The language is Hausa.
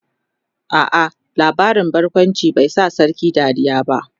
a'a labarin barkawncin bai Sa sarkin Dariya ba